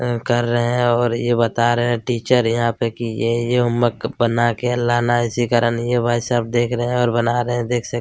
कर रहे हैं और यह बता रहे हैं टीचर यहाँ पे कि ये-ये यह होमवर्क बना के लाना है इसी कारण यह भाई साहब देख रहे हैं और बना रहे हैं देख सक--